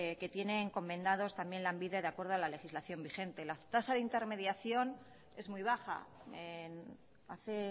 que tiene encomendados también lanbide de acuerdo a la legislación vigente la tasa de intermediación es muy baja hace